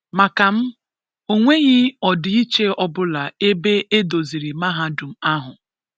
Màkà m, ọ̀ nweghị̀ ọ̀dị̀ìchìè ọbụ̀là ebè edozìrì Mahádùm ahụ̀.